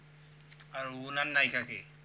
আর উনার নায়িকা কে?